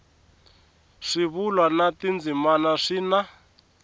swivulwa na tindzimana swi na